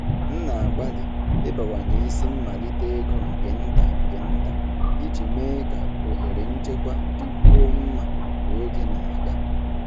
M na-agbalị ịbawanye isi mmalite ego nke nta nke nta iji mee ka ohere nchekwa dịkwuo mma ka oge na-aga.